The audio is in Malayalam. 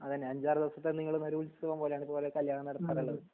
അതെന്നെ അഞ്ചാർ ദിവസത്തെ നിങ്ങളെ മാരി ഉത്സവം പോലെണ് ഓരോ കല്യാണം നടക്കാറുള്ളത്